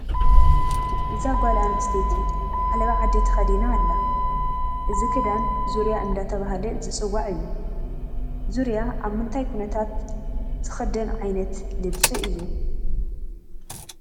እዛ ጓልኣንስተይቲ ዓለባ ዓዲ ተኸዲና ኣላ፡፡ እዚ ክዳን ዙርያ እናተባህለ ዝፅዋዕ እዩ፡፡ ዙርያ ኣብ ምንታይ ኩነታት ዝኽአን ዓልነት ልብሲ እዩ?